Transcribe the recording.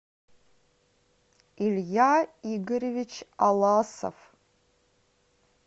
илья игоревич аласов